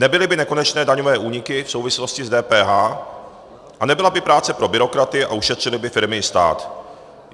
Nebyly by nekonečné daňové úniky v souvislosti s DPH a nebyla by práce pro byrokraty a ušetřily by firmy i stát.